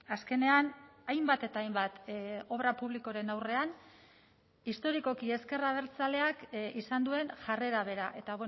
azkenean hainbat eta hainbat obra publikoren aurrean historikoki ezker abertzaleak izan duen jarrera bera eta